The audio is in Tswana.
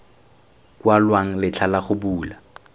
kwalwang letlha la go bula